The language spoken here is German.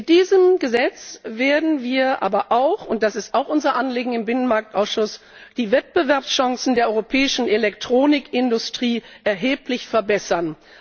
Mit diesem Gesetz werden wir aber auch und das ist auch unser Anliegen im Binnenmarkt Ausschuss die Wettbewerbschancen der europäischen Elektronikindustrie erheblich verbessern.